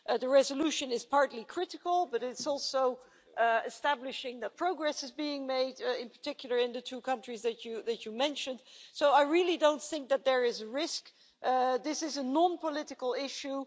The resolution is partly critical, but it also establishes that progress is being made, in particular in the two countries that you mentioned, so I really don't think that there is a risk. This is a non-political issue.